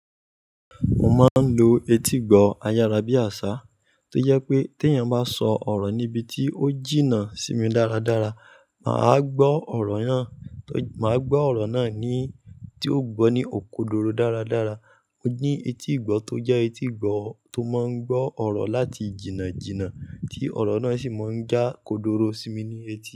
Mo máa ń lo etígbọ̀ọ́ ayárabíàṣá tó jẹ pé tí eeyan bá sọ ọ̀rọ̀ níbi tí ó jìnnà sí mi dáradára, maa gbọ. Màá gbọ́ ọ̀rọ̀ náà ni tí ó gbọ́ ní okodoro dáradára. Mo ni etígbọ̀ọ́ tó jẹ́ etígbọ̀ọ́ tó máa ń gbọ́ ọ̀rọ̀ láti jìnnà jìnnà tí ọ̀rọ̀ náà sì máa ń já kodoro sí mi ní etí.